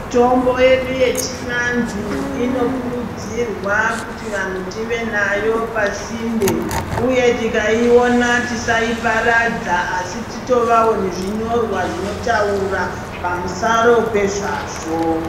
Mitombo yedu ye chivantu ino kurudzirwa kuti vanhu tive nayo pasinde uye tikai ona tisai paradza asi titovawo ne zvinyorwa zvino taura pamusoro pezvazvo.